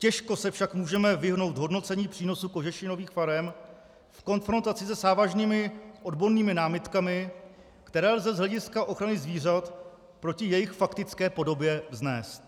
Těžko se však můžeme vyhnout hodnocení přínosu kožešinových farem v konfrontaci se závažnými odbornými námitkami, které lze z hlediska ochrany zvířat proti jejich faktické podobě vznést.